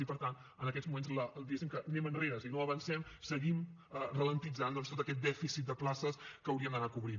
i per tant en aquests moments diguéssim anem enrere és a dir no avancem seguim alentint tot aquest dèficit de places que hauríem d’anar cobrint